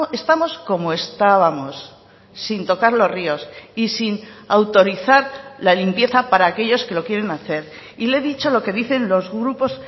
estamos como estábamos sin tocar los ríos y sin autorizar la limpieza para aquellos que lo quieren hacer y le he dicho lo que dicen los grupos